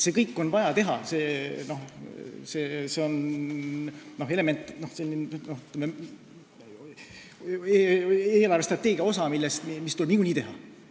Seda kõike on vaja teha, see on eelarvestrateegia osa, mis tuleb niikuinii ära teha.